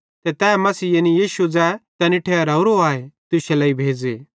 ते तै मसीह यानी यीशु ज़ै तैनी ठहरावरो आए तुश्शे लेइ भेज़े